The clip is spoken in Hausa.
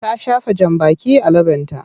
Ta shafa jambaki a leɓenta.